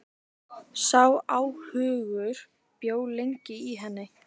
Sá óhugur bjó lengi í henni.